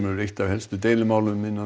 hefur eitt af helstu deilumálunum